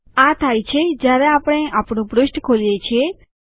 આ થાય છે જયારે આપણે આપણું પૃષ્ઠ ખોલીએ છીએ